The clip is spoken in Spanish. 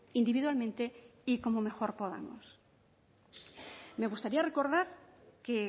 individualmente y como mejor podamos me gustaría recordar que